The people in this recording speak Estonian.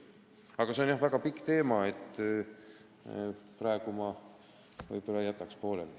Aga see on jah väga pikk teema, praegu ma jätan selle pooleli.